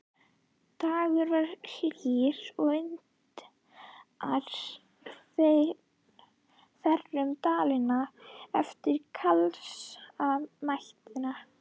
Dagurinn var hlýr og vindar þerruðu Dalina eftir kalsa næturinnar.